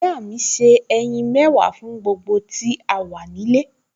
Ìyá mi se ẹyin mẹ́wàá fún gbogbo tí a wà nílé